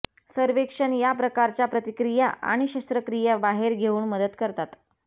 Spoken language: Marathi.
सर्वेक्षण या प्रकारच्या प्रतिक्रिया आणि शस्त्रक्रिया बाहेर घेऊन मदत करतात